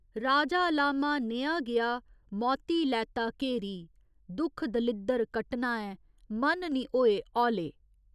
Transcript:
राजा लामा नेहा गेआ, मौती लैता घेरी दुक्ख दलिद्दर कट्टना ऐ मन निं होए हौले।